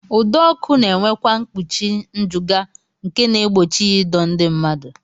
Ụdọọkụ na-enwekwa mkpuchi njụga nke na-egbochi ya ịdọ ndị mmadụ